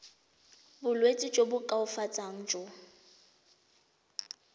bolwetsi jo bo koafatsang jo